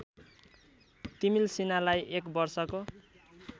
तिमील्सिनालाई एक वर्षको